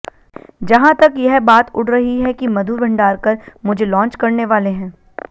जहां तक यह बात उड़ रही है कि मधुर भंडारकर मुझे लांच करनेवाले हैं